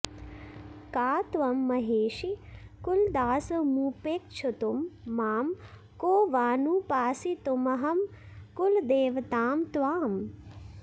का त्वं महेशि कुलदासमुपेक्षितुं मां को वानुपासितुमहं कुलदेवतां त्वाम्